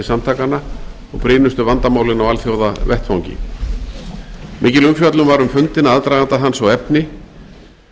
samtakanna og brýnustu vandamálin á alþjóðavettvangi mikil umfjöllun var um fundinn aðdraganda hans og efni